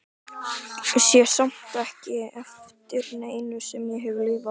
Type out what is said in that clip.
Sé samt ekki eftir neinu sem ég hef lifað.